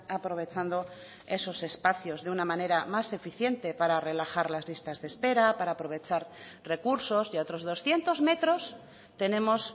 aprovechando esos espacios de una manera más eficiente para relajar las listas de espera para aprovechar recursos y a otros doscientos metros tenemos